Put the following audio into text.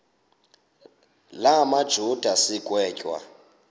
la majuda sigwetywa